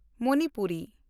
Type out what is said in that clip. Manipuri